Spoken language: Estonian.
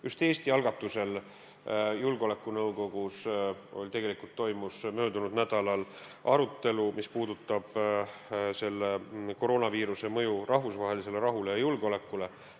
Just Eesti algatusel toimus julgeolekunõukogus möödunud nädalal arutelu, mis puudutab koroonaviiruse mõju rahvusvahelisele rahule ja julgeolekule.